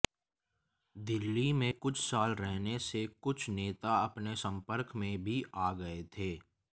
दिल्ली में कुछ साल रहने से कुछ नेता उसके संपर्क में भी आ गए थे